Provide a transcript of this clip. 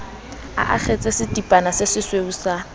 a akgetse setipana sesesweu sa